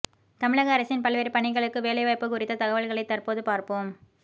தமிழக அரசின் பல்வேறு பணிகளுக்கு வேலைவாய்ப்பு குறித்த தகவல்களை தற்போது பார்ப்போம்